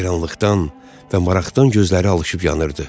Heyranlıqdan və maraqdan gözləri alışıb yanırdı.